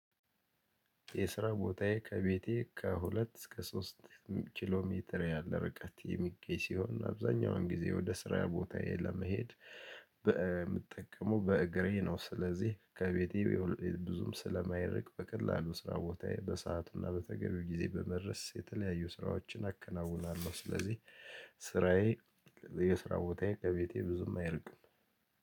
የስራ ቦታዬ ከቤቴ ከሁለት እስከ ሶስት ኪሎ ሜትር ያለ ርቀት የሚገኝ ሲሆን አብዛኛውን ጊዜ ወደ ስራ ቦታዬ ለመሄድ በምጠቀመው በእግሬ ነው። ስለዚህ ከቤቴ ብዙም ስለማይርቅ በቀላሉ ስራ ቦታዬ በሰአትና በተገቢው ጊዜ በመድረስ የተለያዩ ስራዎችን አከናውናለሁ። ስለዚህ ስራዬ የስራ ቦታዬ ከቤቴ ብዙም አይርቅም።